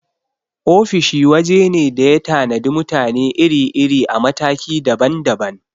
Ofis waje ne da ya tanadi mutane iri-iri a mataki daban daban.